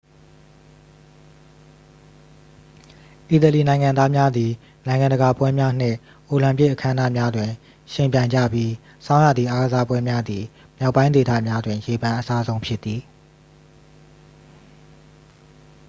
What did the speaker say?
အီတလီနိုင်ငံသားများသည် နိုင်ငံတကာပွဲများနှင့် အိုလံပစ်အခမ်းအနားများတွင် ယှဉ်ပြိုင်ကြပြီး ဆောင်းရာသီအားကစားပွဲများသည် မြောက်ပိုင်းဒေသများတွင် ရေပန်းအစားဆုံးဖြစ်သည်